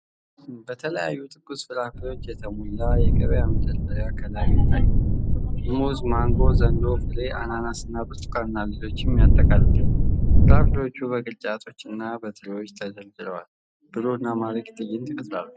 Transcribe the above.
በተለያዩ ትኩስ ፍራፍሬዎች የተሞላ የገበያ መደርደሪያ ከላይ ይታያል። ሙዝ፣ ማንጎ፣ ዘንዶ ፍሬ፣ አናናስ፣ ብርቱካን እና ሌሎችንም ያጠቃልላል። ፍራፍሬዎቹ በቅርጫቶችና በትሪዎች ተደርድረው፣ ብሩህና ማራኪ ትዕይንት ይፈጥራሉ።